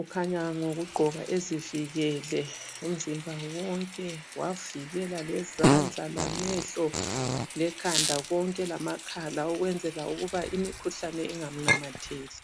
ukhanya ngokugqoka ezivikele umzimba wonke wavikela lezandla lamehlo lekhanda konke lamakhala ukwenzela ukuba imkhuhlane ingamnamatheli.